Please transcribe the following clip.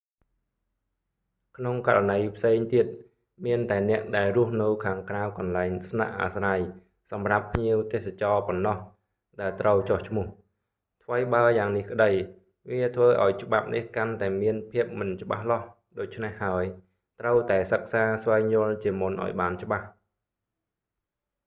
ក្នុងករណីផ្សេងទៀត មានតែអ្នកដែលរស់នៅខាងក្រៅកន្លែងស្នាក់អាស្រ័យសម្រាប់ភ្ញៀវទេសចរប៉ុណ្ណោះ ដែលត្រូវចុះឈ្មោះ ថ្វីបើយ៉ាងនេះក្តី វាធ្វើឱ្យច្បាប់នេះកាន់តែមានភាពមិនច្បាស់លាស់ ដូច្នេះហើយ ត្រូវតែសិក្សាស្វែងយល់ជាមុនឱ្យបានច្បាស់